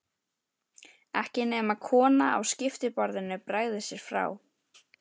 Ekki nema konan á skiptiborðinu bregði sér frá.